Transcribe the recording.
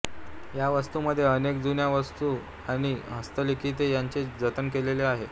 ह्या वास्तूंमध्ये अनेक जुन्या वस्तू आणि हस्तलिखिते यांचे जतन केलेले आहे